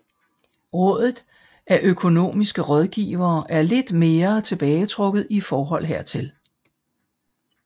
Rådet af Økonomiske Rådgivere er lidt mere tilbagetrukket i forhold hertil